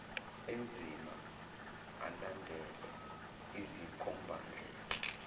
enzima alandele izinkombandlela